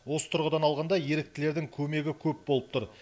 осы тұрғыдан алғанда еріктілердің көмегі көп болып тұр